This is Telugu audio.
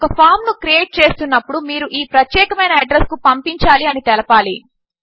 ఒక ఫామ్ ను క్రియేట్ చేస్తున్నప్పుడు మీరు ఈ ప్రత్యేకమైన అడ్రస్ కు పంపించాలి అని తెలపాలి